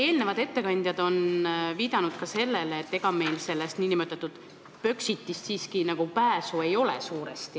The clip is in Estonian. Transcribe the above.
Eelnevad ettekandjad on viidanud sellele, et ega meil sellest nn Põxitist siiski suuresti pääsu ei ole.